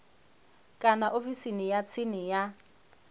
kana ofisini ya tsini ya